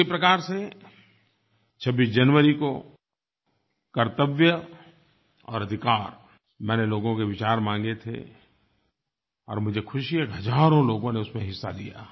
उसी प्रकार से 26 जनवरी को कर्तव्य और अधिकार मैंने लोगों के विचार माँगे थे और मुझे खुशी है कि हज़ारों लोगों ने उसमें हिस्सा लिया